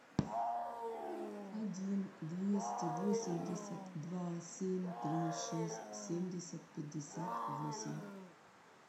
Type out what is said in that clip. один двести восемьдесят два семь три шесть семьдесят пятьдесят восемь